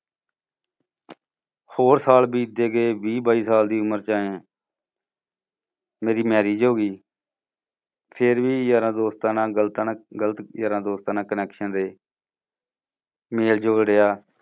ਹੋਰ ਸਾਲ ਬੀਤਦੇ ਗਏ ਵੀਹ ਬਾਈ ਸਾਲ ਦੀ ਉਮਰ ਚ ਆਇਆ ਮੇਰੀ marriage ਹੋ ਗਈ ਫਿਰ ਵੀ ਯਾਰਾਂ ਦੋਸਤਾਂ ਨਾਲ ਗਲਤ ਨਾ ਗਲਤ ਯਾਰਾਂ ਦੋਸਤਾਂ ਨਾਲ connection ਰਹੇ ਮੇਲ ਜੋਲ ਰਿਹਾ